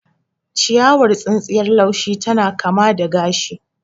Ciyawar tsintsiyar laushi tana kama da gashi.